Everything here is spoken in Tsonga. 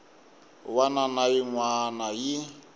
wana na yin wana yi